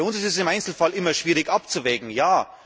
Für uns ist es im Einzelfall immer schwierig abzuwägen, ja!